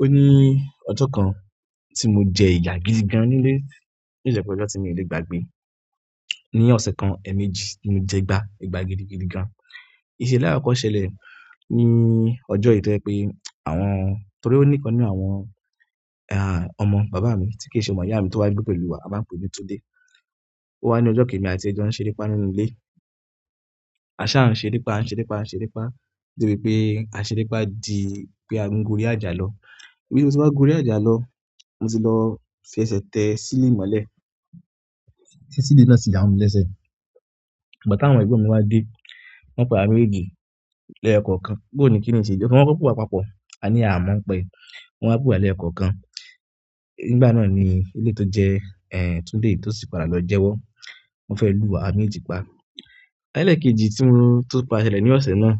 O ní ọjọ́ kan tí mo jẹ ìyà gidi gan nílé ní to si je pe ọjọ́ tí mi o lè gbagbe ni. Ni ọ̀sẹ̀ kan, ẹ̀ẹ̀mejì ni mo jẹgbá, egbá gidi gidi gan. Ìṣẹ̀lẹ̀ àlakọ́kọ́ ṣẹlẹ̀ ní ọjọ́ yìí to je pé àwọn-- torí ó níkan nínú àwọn, ọmọ bàbá mi tí kì í ṣe ọmọ ìyá mi tó wá gbé pẹ̀lú wa, a máa ń pe ní Tunde. Ó wá ní ọjọ́ kan emi àti ẹ jọ́ ń ṣeré pá nínú ilé. A sá ń ṣeré pá, a ń ṣeré pá, a ń ṣeré pá, de bi pé a ṣeré pá di pé a ń gorí àjà lọ. Bí mo se wá gorí àjà lọ, mo ti lọ fi ẹsẹ̀ tẹ ceiling mọ́lẹ̀. Ti ceiling náà sì ya mo mi lẹ́sẹ̀. Ìgbà tawon egbon mi wa de, won pe awa méjèèjì ni eyo kọ̀ọ̀kan boo ni kini yi se je, won koko pewa papọ̀. A ní a mo ń pa ẹ́. Wọ́n wá pewa lẹ́yo kọ̀ọ̀kan. Nígbà náà ni eleyi to je Tunde yi, to si ti padà lo jewo. Wọ́n fẹ́ lù wa, awa mèjeejì pa. Eleekejì tí mo, tó padà ṣẹlẹ̀ ní ọ̀sẹ̀ náà,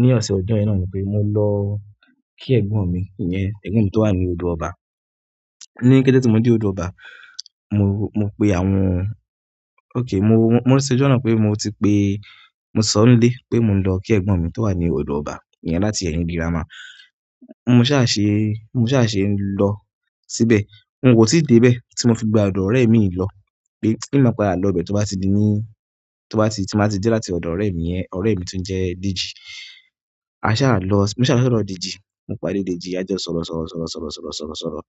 ní ọ̀sẹ̀ ọjọ́ ẹ̀yẹn náà ni pé mo lọ kí ẹ̀gbọ́n mi iyẹn, ẹ̀gbọ́n mi tó wà ní odò ọba. Ní kété tí mo dé odò ọba, mo, mo pe àwọn-- okay, mo, mo rántí ọjọ́ náà pé mo ti pé, mo sọ n ilé pé mo ń lọ kí ẹ̀gbọ́n mi tó wà ní odò ọba iyẹn láti ẹ̀yìn. Gírámà. Mo sá ṣe, mo sá ṣe ń lọ síbẹ̀. N ò tí dé bẹ́ẹ̀ tí mo fi gba ọ̀dọ̀ ọ̀rẹ́ mi lọ pé n máa padà lọ bẹ́ẹ̀ tó bá ti di ní, tó bá ti, tí n bá ti dé láti ọ̀dọ̀ ọ̀rẹ́ mi yẹn, ọ̀rẹ́ mi tó ń jẹ́ Dèjì. A sá lọ, mo sá lọ sódò Dèjì. Mo padé Dèjì, a jo sọ̀rọ̀ sọ̀rọ̀ sọ̀rọ̀ sọ̀rọ̀ sọ̀rọ̀ sọ̀rọ̀ sọ̀rọ̀.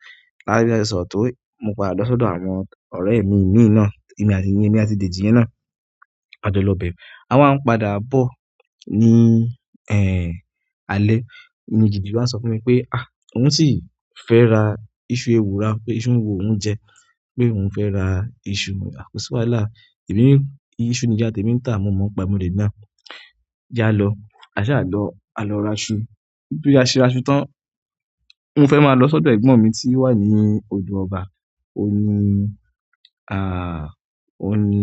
A ri bá ṣe sọ̀rọ̀ tó yi, mo padà lọ sódò àwọn ọ̀rẹ́ mi mí i ná, èmi àti, èmi àti Dèjì yẹn náà. A jọ lo bẹ̀. A wá ń padà bọ̀ ní, alẹ́. Ní Dèjì wá ń sọ fún mi pé, òun sì fẹ́ ra iṣu ewùra o pé iṣu ń wu òhun jẹ́. Pe ohun fe ra isu, mo ni ko si wàhálà, emi ni isu ni iya temi n ta, mo mo n pa e, mo de náà. Je á lọ. A sá lọ, a lọ ra iṣu. Bí a se ra iṣu tán, mo fẹ́ máa lọ sódò ẹ̀gbọ́n mi tí ó wà ní odò ọba. Óun ní, óun ní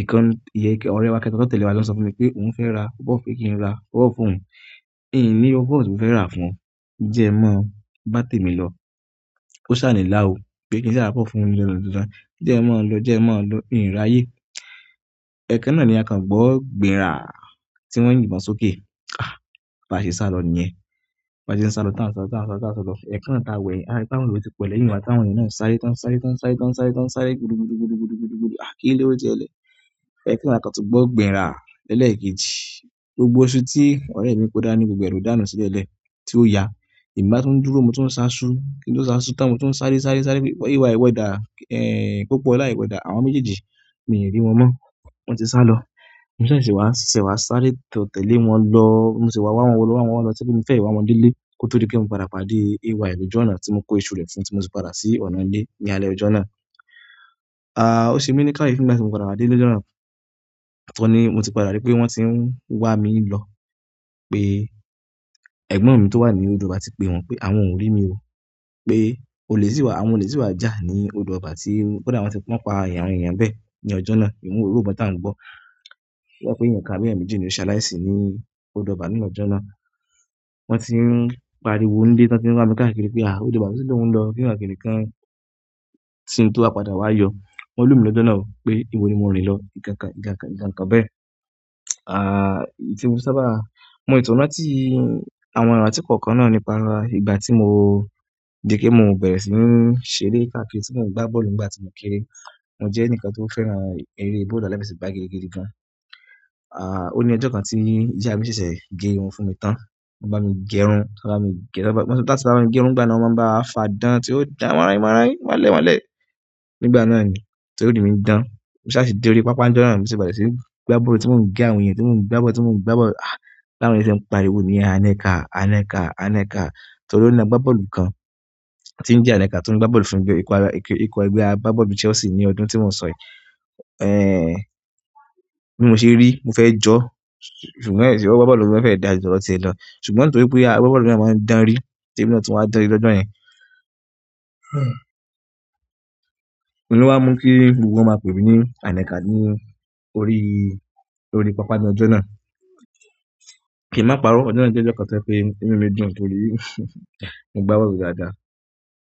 ìkan, ìyẹ́ kí àwọn ọ̀rẹ́ wa kẹ́ta tó tẹ̀le wa lọ o sọ fún mi pé òun fẹ́ ra pọ́pọ́ọ̀fù pe kí n ra pọ́pọ̀ọ̀fù fún òun. Mi n ní pọ́pọ̀ọ̀fù tí mo fẹ́ rà fún ọ. Jẹ́ n mọ́, bá tẹ̀mi lọ. O sa ni la o, pe ki n sa ra popoofu fún oun ni dandan dandan, je n mo lo, je n mo lo, n raye ẹ̀ẹ̀kan náà ni a kan gbọ́ gbìn ra tí wọ́n yìnbọn sókè. Ba se salo niyen. Ba ṣe n sá lọ tán sá lọ tán sá lọ tán sá lọ. Ẹ̀ẹ̀kan náà ta wẹ̀. A ri pe àwọn eeyan ti po lẹ́yìn wa. Tawọn eeyan náà sáré tán sáré tán sáré tán sáré tán sáré gudu gudu gudu gudu gudu gudu. Kí lo sẹlẹ́. Ẹ̀ẹ̀kan náà a kan tun gbọ́ gbìn ra ẹ́lẹ́ekejì. Gbogbo iṣu tí ọ̀rẹ́ mi kó dá ní gbogbo ẹ̀ lo dànù sílẹ̀elẹ̀ tí ó ya. Emi bá tún dúró, mo tún sá iṣu. Kí n to sá iṣu tán? Mo tún sáré sáré sáré pé AY ìwo dà, Popọ̀ola iwo dà. Àwọn méjèèjì, mi n rí wọn mọ́. Wọ́n ti sá lọ. Mo tun ṣẹ̀ṣẹ̀ wá, ṣẹ̀ṣẹ̀ wá sáré tó tẹ̀lé wọn lọ. Mo sese wá wá wọn lọ wá wọn lọ wa wo lo to je pe. Mo fẹ́ wá wọn dé ilé kó tó dí pé mo padà pàdé AY lòju ọ̀nà tí mo kó iṣu rẹ̀ fún tí mo si padà sí ọ̀nà ilé ní alẹ́ ọjọ́ náà. Ó ṣe mí ní kayefi nígbà tí mo padà wá dé ilé lọ́jọ́ náà. Oun, ni mo ti padà rí pé wọ́n ti ń wá mi lọ pé ẹ̀gbọ́n mi tó wà ní odò ọba ti pe wọn pé àwọn ò rí mi ò. Pé ólè sì wá, àwọn òlè sì wá jà ní odò ọba tí kódà wọ́n ti wọ́n pa àwọn eeyàn n bẹ́ẹ̀ ní ọjọ́ náà. Oun ni irò ibọ́n tí a ń gbọ́. Wọ́n sọ pé èeyàn kan àbí eeyan mẹ́jì ni ó ṣaláìsí ní odò ọba ní ọjọ́ náà. Wọ́n ti ń pariwo n lé tán tí n wá mi káàkiri pé odò ọba to sì ló ń lọ kinikan kinikán. Tí n tó wá padà wá yọ, won lù mí lọ́jọ́ náà pé ìbọ ni mo rìn lọ ìkankan ìkankan ikankan bẹ́ẹ̀. Tí mo fi sábà mọ sì tun rántí àwọn irantí kọ̀ọ̀kan náà nípa ìgbà tí mo je pé mo bẹ̀rẹ̀ sí ń ṣeré káàkiri tí mo ń gbá bọ́ọ̀lù nígbà tí mo kéré. Mo je enikan to fẹ́ràn ere bọ́ọ̀lù aláfẹsẹ̀gbá gidigidi gan. O ni ojo kan ti iya mi sese ge irun fún mi tan. Wọ́n bá mi gẹrun. Won bá mi gẹ, tá bá si ba wa gẹrun n gbá náà wọ́n máa ń bá wa fà dán tí ó dà mọ́nran mọ́nran o mọ́ lẹ̀ mọ́lẹ̀. Nígbà náà ni torí mi n dán. Mo sá ṣe dé orí pápá n jọ náà bi mo se berẹ́ sí gbá bọ́ọ̀lù tí mo ń gé àwọn èèyàn, tí mo ń gbá bọ́ọ̀lù, tí mo ń gbá bọ́ọ̀lù. Táwọ̀n eeyan ṣe ń pariwo níyẹ̀n, Ànẹ́kà, Ànẹ́kà, Ànẹ́kà. Torí ó ní agbábọ́ọ̀lù kan tí ń jẹ́ Ànẹ́kà tí ń gbá bọ́ọ̀lù fún ikọ̀ egbe abgabọ́ọ̀lù Chelsea ní ọdún tí mo n sọ yi. Bi mo se ri, mo fe jo, ṣùgbọ́n e si gbogbo agbábọ́ọ̀lù lo ma fe daa ju todo tie lo, ṣùgbọ́n nítorí pe agbábọ́ọ̀lù náà maan danri ti emi náà tun wa danri ni ojo yen. Óun lo wá mú kí gbogbo wọn máa pè mí ní Ànẹ́kà ní orí, orí pápá ni ojọ náà. Kì n má parọ́, ọjọ́ náà jẹ́ ọjọ́ kan tó je pé inú mi dùn torí mo gbá bọ́ọ̀lù dáadáa.